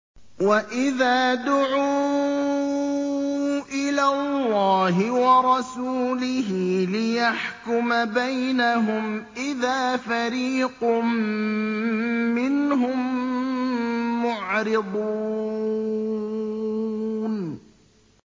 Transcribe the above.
وَإِذَا دُعُوا إِلَى اللَّهِ وَرَسُولِهِ لِيَحْكُمَ بَيْنَهُمْ إِذَا فَرِيقٌ مِّنْهُم مُّعْرِضُونَ